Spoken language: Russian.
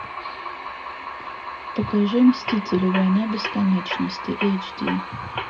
покажи мстители война бесконечности эйч ди